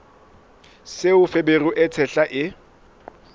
seo feberu e tshehla e